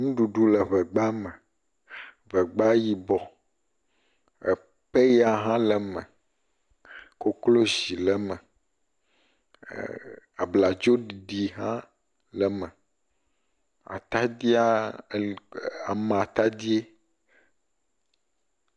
Ŋuɖuɖu le ŋegba me. Ŋegba yibɔ. Epɛya hã le me, koklozi le eme. Ee abladzoɖiɖi hã le eme, atadia ele e amatadie.